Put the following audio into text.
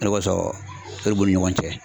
O de kɔsɔn , o de b'u ni ɲɔgɔn cɛ.